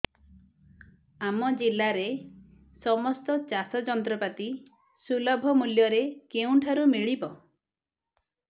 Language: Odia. ଆମ ଜିଲ୍ଲାରେ ସମସ୍ତ ଚାଷ ଯନ୍ତ୍ରପାତି ସୁଲଭ ମୁଲ୍ଯରେ କେଉଁଠାରୁ ମିଳିବ